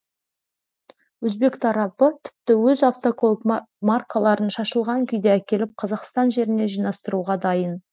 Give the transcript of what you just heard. өзбек тарапы тіпті өз автокөлік маркаларын шашылған күйде әкеліп қазақстан жерінде жинастыруға дайын